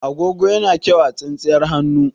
Agogo yana kyau a tsintsiyar hannu.